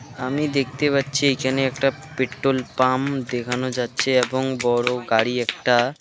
আমি দেখতে পাচ্ছি এখানে একটা পেট্রোল পাম্প দেখানো যাচ্ছে এবং বড়ো গাড়ি একটা .